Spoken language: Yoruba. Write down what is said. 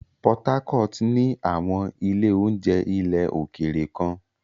Port Harcourt ní àwọn ilé-oúnjẹ ilẹ̀ òkèèrè kan.